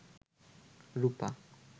রুপা